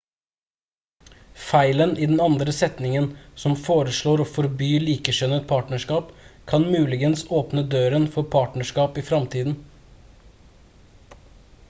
feilen i den andre setningen som foreslår å forby likekjønnet partnerskap kan muligens åpne døren for partnerskap i fremtiden